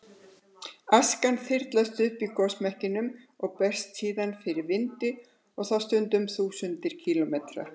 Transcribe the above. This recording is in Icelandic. Askan þyrlast upp í gosmekkinum og berst síðan fyrir vindi og þá stundum þúsundir kílómetra.